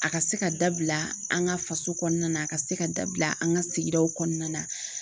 A ka se ka dabila an ka faso kɔnɔna na a ka se ka dabila an ka sigidaw kɔnɔna na.